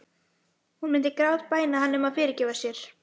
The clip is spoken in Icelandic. Hún myndi grátbæna hann um að fyrirgefa sér.